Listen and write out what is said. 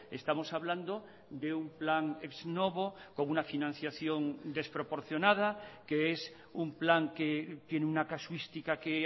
estamos hablando de un plan ex novo con una financiación desproporcionada que es un plan que tiene una casuística que